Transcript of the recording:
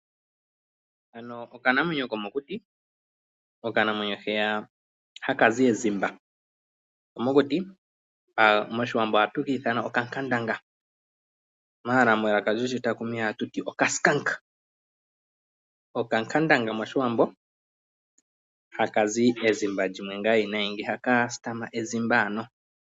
Haka okanamwenyo komokuti, okanamwenyo hoka haka zi ezimba komokuti, mOshiwambo ohatu ka ithana kutya okankandanga. Okankandanga mOshiwambo, haka zi ezimba ewinayi nohaka sitama/itutike ezimba.